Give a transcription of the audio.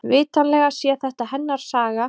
Vitanlega sé þetta hennar saga.